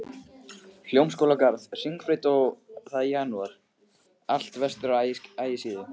Hljómskálagarð, Hringbraut, og það í janúar, allt vestur á Ægisíðu